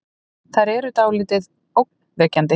Þær eru dáldið ógnvekjandi.